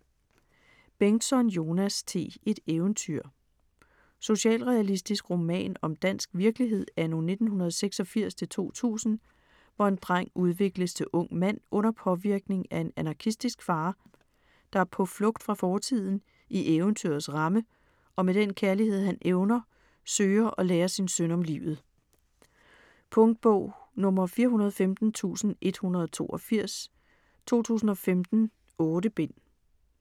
Bengtsson, Jonas T.: Et eventyr Socialrealistisk roman om dansk virkelighed anno 1986-2000, hvor en dreng udvikles til ung mand under påvirkning af en anarkistisk far, der på flugt fra fortiden, i eventyrets ramme, og med den kærlighed han evner, søger at lære sin søn om livet. Punktbog 415182 2015. 8 bind.